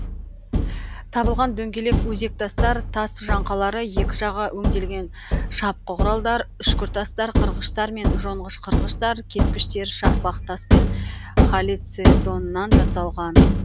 табылған дөңгелек өзектастар тас жаңқалары екі жағы өнделген шапқы құралдар үшкіртастар қырғыштар мен жонғыш қырғыштар кескіштер шақпақ тас пен халцедоннан жасалған